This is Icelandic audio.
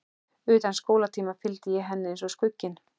Utan skólatíma fylgdi ég henni eins og skugginn.